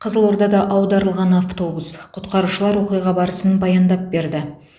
қызылордада аударылған автобус құтқарушылар оқиға барысын баяндап берді